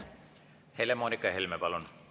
Helle-Moonika Helme, palun!